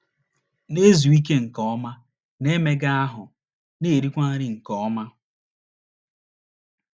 Na - ezu ike nke ọma, na - emega ahụ́, na - erikwa nri nke ọma.